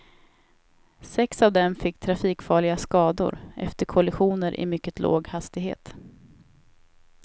Sex av dem fick trafikfarliga skador efter kollisioner i mycket låg hastighet.